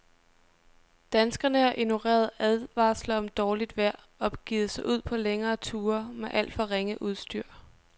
Danskerne har ignoreret advarsler om dårligt vejr og begivet sig ud på længere ture med alt for ringe udstyr.